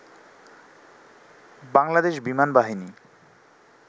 বাংলাদেশ বিমানবাহিনী